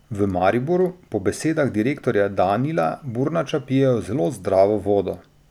V Mariboru po besedah direktorja Danila Burnača pijejo zelo zdravo vodo.